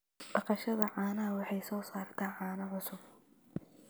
Dhaqashada caanaha waxay soo saartaa caano cusub.